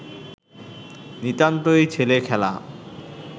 নিতান্তই ছেলে-খেলা